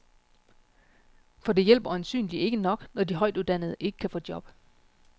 For det hjælper øjensynlig ikke nok, når de højtuddannede ikke kan få job.